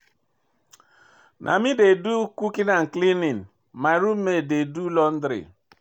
Na me dey do di cooking and cleaning, my roommate dey do di laundry.